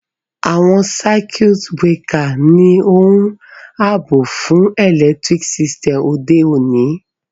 Àwon circuit breaker ni oun àbò fun electric system òde ọ̀ní